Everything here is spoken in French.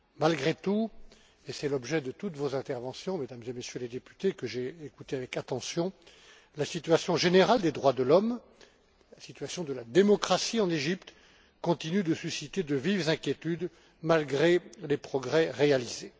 Malgré tout, et c'est l'objet de toutes vos interventions, Mesdames et Messieurs les députés, que j'ai écoutées avec attention, la situation générale des droits de l'homme, la situation de la démocratie en Égypte, continuent de susciter de vives inquiétudes malgré les progrès réalisés.